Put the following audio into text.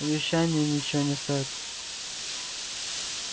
обещания ничего не стоят